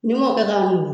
N'i m'o kɛ k'a min